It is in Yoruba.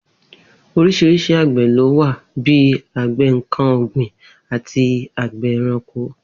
Orís̩irís̩i àgbè̩ ló wà bí i àgbè̩ nǹkan ò̩gbìn àti àgbè̩ e̩ranko